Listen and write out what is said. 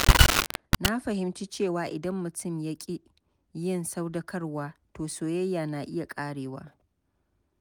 Na fahimci cewa idan mutum ya ƙi yin sadaukarwa, to soyayya na iya ƙarewa.